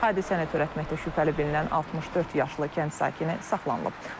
Hadisəni törətməkdə şübhəli bilinən 64 yaşlı kənd sakini saxlanılıb.